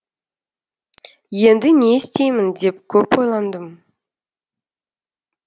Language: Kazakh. енді не істеймін деп көп ойландым